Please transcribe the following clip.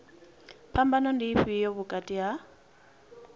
phambano ndi ifhio vhukati ha